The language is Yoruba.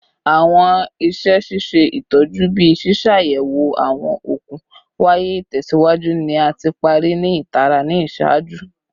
Awọn iṣẹ ṣiṣe itọju, bii ṣiṣayẹwo awọn okun waya itẹsiwaju, ni a ti pari ni itara ni iṣaaju